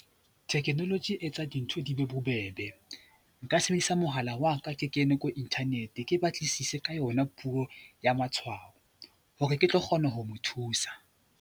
Technology e etsa dintho di be bobebe. Nka sebedisa mohala wa ka ke kene ko Internet ke batlisise ka yona puo ya matshwao hore ke tlo kgona ho mo thusa.